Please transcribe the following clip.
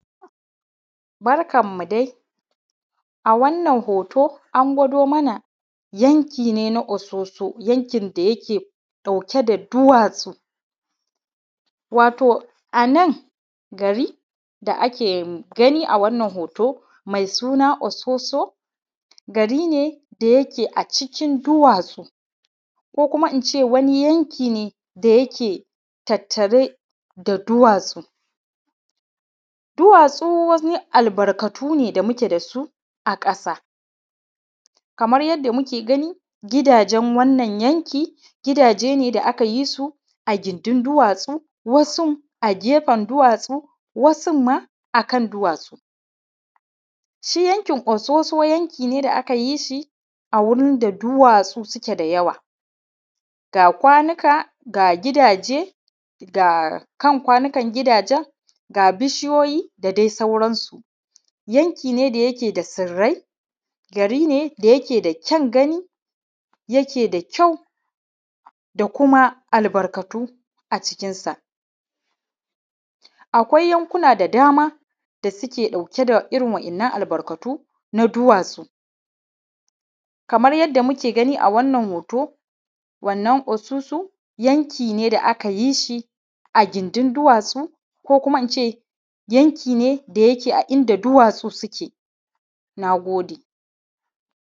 Barka dai a wannan hoto a gwado mana yanki ne na ososo yankin da yake ɗauke da duwatsu. Wato a nan gari da ake gani a wannan hoto mai suna ososo gari ne da yake a cikin duwatsu ko kuma in ce yanki ne da yake tattare da duwatsu. Duwatsu wani albarkatu ne da muke da su a ƙasa, kamar yadda muke gani gidajen wannan yanki gidaje ne da aka yi su a gindin duwatsun a gefen duwatsu wasu ma a kan duwatsu. Shi yankin ososo yanki ne da aka yi shi a wurin da duwatsu suke da yawa ga kwanuka ga gidaje ga kan kwanukan gidajen ga bishiyoyi da dai sauransu. Yanki ne da yake da tsirrai ,gari ne da yake da ƙyaun gani kuma yake da ƙyau da kuma albarkatu a cikinsa. Akwai yankuna da dama da suke ɗauke da irin wannan albarkatu na duwatsu, Kamar yadda muke gani a wannan hoto ososo yanki ne da aka yi shi a gindin duwatsun ko kuma in ce yanki ne da yake a inda duwatsu suke na gode.